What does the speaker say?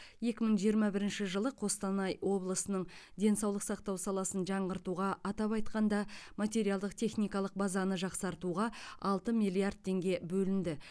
екі мың жиырма бірінші жылы қостанай облысының денсаулық сақтау саласын жаңғыртуға атап айтқанда материалдық техникалық базаны жақсартуға алты миллиард теңге бөлінді